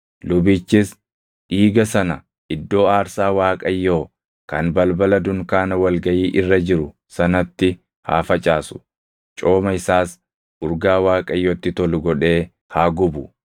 Lubichis dhiiga sana iddoo aarsaa Waaqayyoo kan balbala dunkaana wal gaʼii irra jiru sanatti haa facaasu; cooma isaas urgaa Waaqayyotti tolu godhee haa gubu.